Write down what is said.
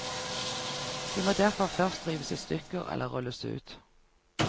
De må derfor først rives i stykker eller rulles ut.